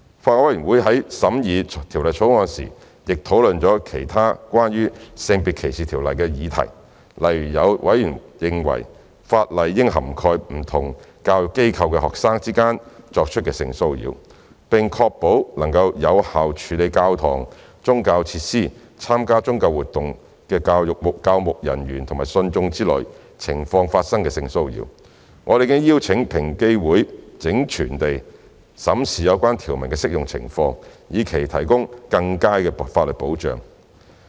法案委員會在審議《條例草案》時亦討論了其他關於《性別歧視條例》的議題，例如有委員認為法例應涵蓋不同教育機構的學生之間作出的性騷擾，並確保能有效處理教堂、宗教設施、參加宗教活動的教牧人員和信眾之間發生的性騷擾，我們已邀請平機會整全地審視有關條文的適用情況，以期提供更佳的法律保障。